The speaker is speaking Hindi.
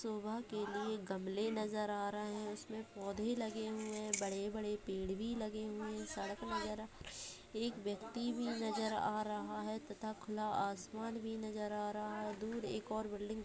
शोभा के लिए गमले नज़र आ रहे हैं इसमें पौधे लगे हुए हैं बड़े-बड़े पेड़ भी लगे हुए हैं सड़क नज़र आ रही है एक व्यक्ति भी नज़र आ रहा है तथा खुला आसमान भी नज़र आ रहा है दूर एक और बिल्डिंग दिख--